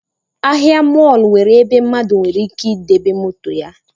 Ahịa mọlụ nwere ebe mmadụ nwere ike debe moto ya